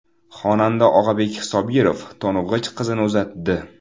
Xonanda Og‘abek Sobirov to‘ng‘ich qizini uzatdi .